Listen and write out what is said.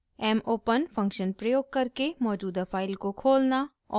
mopen function प्रयोग करके मौजूदा फाइल को खोलना और